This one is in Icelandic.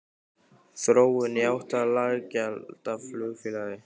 Þróun í átt að lággjaldaflugfélagi?